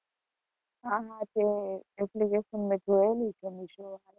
હા હા તે application મેં જોયેલી છે Meesho.